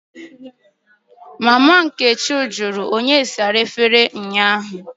" onye na-asa efere ụnyahụ? Mama nkechi jụrụ.